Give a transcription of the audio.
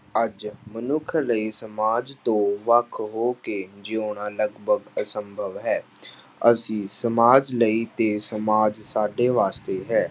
ਅੱਜ ਮਨੁੱਖ ਲਈ ਸਮਾਜ ਤੋਂ ਵੱਖ ਹੋ ਕੇ ਜਿਉਣਾ ਲਗਪਗ ਅਸੰਭਵ ਹੈ ਅਸੀਂ ਸਮਾਜ ਲਈ ਤੇ ਸਮਾਜ ਸਾਡੇ ਵਾਸਤੇ ਹੈ।